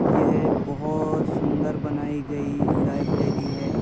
यह बहोत सुन्दर बनाई गई लाइब्रेरी है |